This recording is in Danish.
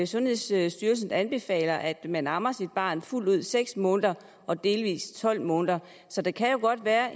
sundhedsstyrelsen anbefaler at man ammer sit barn fuldt ud i seks måneder og delvis i tolv måneder så der kan godt være